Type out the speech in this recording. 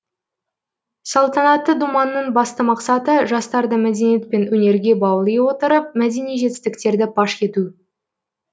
салтанатты думанның басты мақсаты жастарды мәдениет пен өнерге баули отырып мәдени жетістіктерді паш ету